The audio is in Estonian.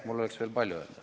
Mul oleks veel palju öelda.